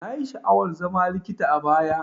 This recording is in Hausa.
Nayi sha'awar zama likita a baya.